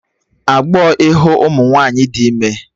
Agbọọ ịhụ ụmụ nwaanyị dị ime